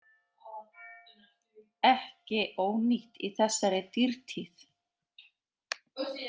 Ekki ónýtt í þessari dýrtíð.